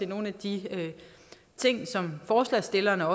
nogle af de ting som forslagsstillerne